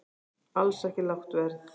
Alls ekki lágt verð